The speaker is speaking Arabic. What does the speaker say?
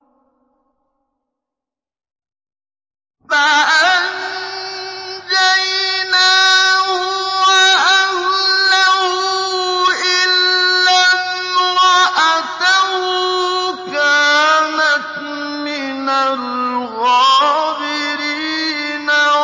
فَأَنجَيْنَاهُ وَأَهْلَهُ إِلَّا امْرَأَتَهُ كَانَتْ مِنَ الْغَابِرِينَ